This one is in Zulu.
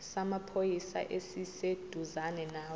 samaphoyisa esiseduzane nawe